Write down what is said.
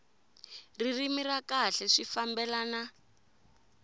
ririmi ra kahle swi fambelana